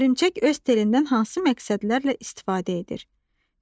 Hörümçək öz telindən hansı məqsədlərlə istifadə edir?